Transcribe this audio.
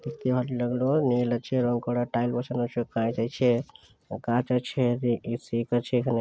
দেখতে ভালো লাগলেও মেইল আছে রং করা টাইল বসানো সব কাজ আছে কাঁচ আছে রে এ.সি. এক আছে এখানে।